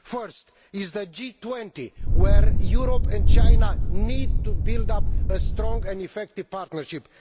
First, in the G20, Europe and China need to build up a strong and effective partnership.